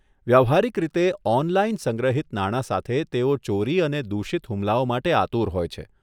વ્યવહારીક રીતે 'ઓનલાઇન' સંગ્રહિત નાણાં સાથે, તેઓ ચોરી અને દૂષિત હુમલાઓ માટે આતુર હોય છે.